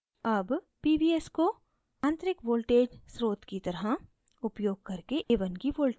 a1 pvs को आंतरिक voltage स्रोत की तरह उपयोग करके a1 की voltage मापते हैं